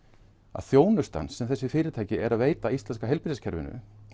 að þjónustan sem þessi fyrirtæki eru að veita íslenska heilbrigðiskerfinu